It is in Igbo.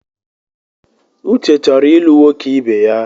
Uche chọrọ ịlụ nwoke ibeya.